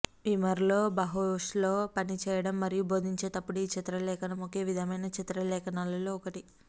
వీమర్లో బహస్లో పని చేయడం మరియు బోధించేటప్పుడు ఈ చిత్రలేఖనం ఒకే విధమైన చిత్రలేఖనాలలో ఒకటి